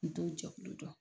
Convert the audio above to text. N t'o jɛkulu dɔn.